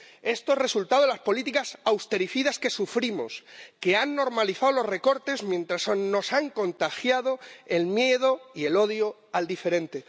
Esto es resultado de las políticas austericidas que sufrimos, que han normalizado los recortes mientras nos han contagiado el miedo y el odio al diferente.